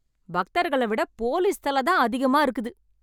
பக்தர்கள விட போலீஸ் தல தான் அதிகமா இருக்குது.